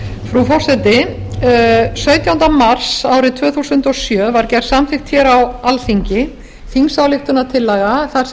frú forseti sautjánda mars árið tvö þúsund og sjö var gerð samþykkt á alþingi þingsályktunartillaga þar sem